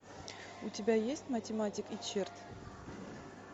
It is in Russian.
у тебя есть математик и черт